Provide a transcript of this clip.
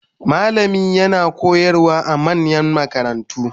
Malami yana koyarwa a manyan makarantu